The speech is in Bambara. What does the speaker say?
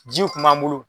Jiw kun b'an bolo